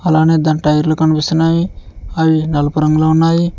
అలానే దాని టైర్లు కనిపిస్తున్నాయి అవి నలుపురంలో ఉన్నాయి.